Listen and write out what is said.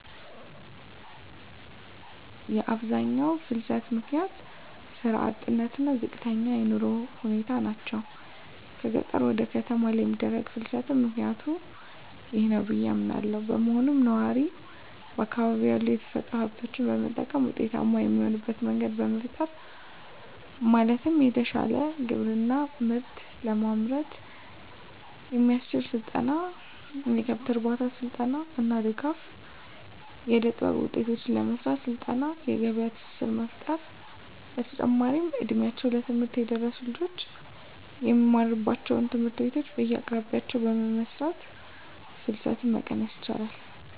የአብዛኛው ፍልሰት ምክንያት ስራ አጥነት እና ዝቅተኛ የኑሮ ሁኔታ ናቸው። ከገጠር ወደ ከተማ ለሚደረግ ፍልስትም ምክኒያቱ ይህ ነው ብዬ አምናለው። በመሆኑም ነዋሪው በአካባቢው ያሉ የተፈጥሮ ሀብቶችን በመጠቀም ውጤታማ የሚሆንበት መንገድ መፍጠር ማለትም የተሻለ ግብርና ምርት ለማምረት የሚያስችል ስልጠና፣ የከብት እርባታ ስልጠና እና ድጋፍ. ፣ የእደጥበብ ውጤቶችን ለመሰራት ስልጠና የገበያ ትስስር መፍጠር። በተጨማሪም እ ድሜያቸው ለትምህርት የደረሱ ልጆች የሚማሩባቸውን ትምህርት ቤቶች በየአቅራቢያቸው በመስራት ፍልሰትን መቀነስ ይቻላል።